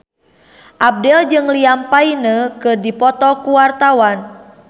Abdel jeung Liam Payne keur dipoto ku wartawan